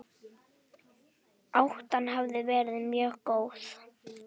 Átan hafi verið mjög góð